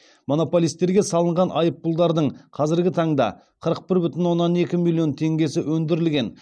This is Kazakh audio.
монополистерге салынған айыппұлдардың қазіргі таңда қырық бір бүтін оннан екі миллион теңгесі өндірілген